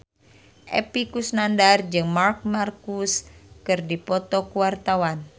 Epy Kusnandar jeung Marc Marquez keur dipoto ku wartawan